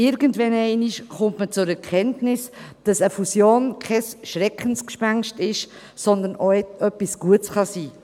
Irgendwann kommt man zur Erkenntnis, dass eine Fusion kein Schreckgespenst ist, sondern auch etwas Gutes sein kann: